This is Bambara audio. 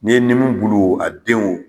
Ni ye nimu bulu a denw